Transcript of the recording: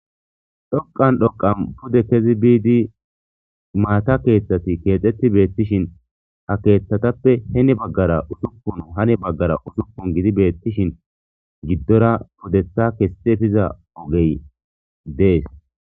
dhoqan dhoqan pude kezi biidi maata keeththati keexetti beettishin ha keeththatappe heni baggara usukun hane baggara usukun gidi beettishin giddora pudetha kessefiza ogey dees